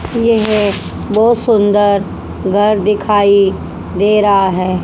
यह बहोत सुंदर घर दिखाई दे रहा है।